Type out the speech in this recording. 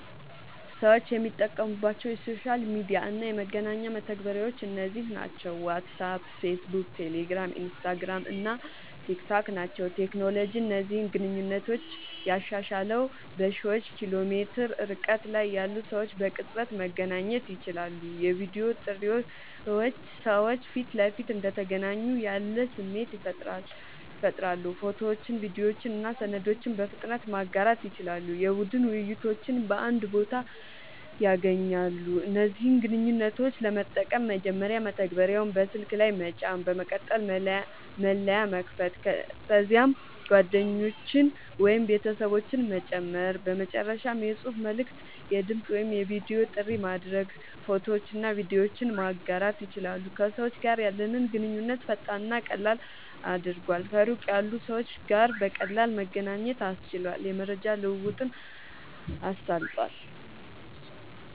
ሰዎች የሚጠቀሙባቸው የሶሻል ሚዲያ እና የመገናኛ መተግበሪያዎች እነዚህ ናቸው፦ ዋትስአፕ፣ ፌስቡክ፣ ቴሌግራም፣ ኢንስታግራም እና ቲክታክ ናቸዉ።.ቴክኖሎጂ እነዚህን ግንኙነቶች ያሻሻለዉ፦ በሺዎች ኪሎ ሜትር ርቀት ላይ ያሉ ሰዎች በቅጽበት መገናኘት ይችላሉ። የቪዲዮ ጥሪዎች ሰዎች ፊት ለፊት እንደተገናኙ ያለ ስሜት ይፈጥራሉ። ፎቶዎችን፣ ቪዲዮዎችን እና ሰነዶችን በፍጥነት ማጋራት ይችላሉ። የቡድን ውይይቶችን በአንድ ቦታ ያገናኛሉ። እነዚህን ግንኙነቶች ለመጠቀም፦ መጀመሪያ መተግበሪያውን በስልክ ላይ መጫን፣ በመቀጠል መለያ መክፈት፣ ከዚያም ጓደኞችን ወይም ቤተሰቦችን መጨመር፣ በመጨረሻም የጽሑፍ መልዕክት፣ የድምጽ ወይም የቪዲዮ ጥሪ ማድረግ፣ ፎቶዎችንና ቪዲዮዎችን ማጋራት ይችላሉ። ከሰዎች ጋር ያለንን ግንኙነት ፈጣንና ቀላል አድርጓል፣ ከሩቅ ያሉ ሰዎች ጋር በቀላሉ መገናኘት አስችሏል፣ የመረጃ ልዉዉጥን አሳልጧል